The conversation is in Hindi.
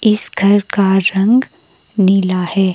इस घर का रंग नीला है।